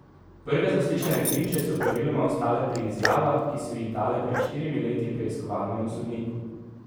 Prve zaslišane priče so praviloma ostale pri izjavah, ki so jih dale pred štirimi leti preiskovalnemu sodniku.